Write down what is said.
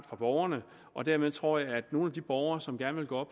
fra borgerne og dermed tror jeg at nogle af de borgere som gerne vil gå